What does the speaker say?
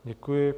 Děkuji.